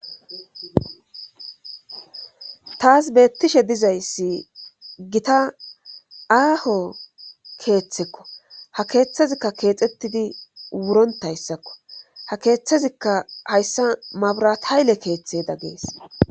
Taasi beettishe dizayssi gita aaho keeththekko ha keeththazikka keexxettidi wurontayssakko ha keeththazikka hayssa mabrahayle keeththeda gees.